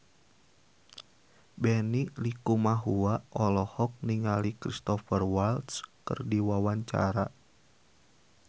Benny Likumahua olohok ningali Cristhoper Waltz keur diwawancara